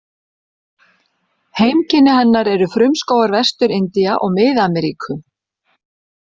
Heimkynni hennar eru frumskógar Vestur-Indía og Mið-Ameríku.